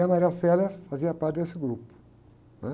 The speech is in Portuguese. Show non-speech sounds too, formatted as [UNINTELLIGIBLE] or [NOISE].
E a [UNINTELLIGIBLE] fazia parte desse grupo, né?